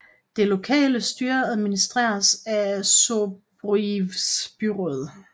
Det lokale styre administreres af Zborivs byråd